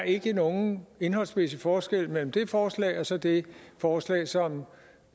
ikke er nogen indholdsmæssig forskel mellem det forslag og så det forslag som